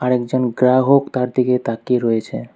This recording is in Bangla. একজন গ্রাহক তার দিকে তাকিয়ে রয়েছে।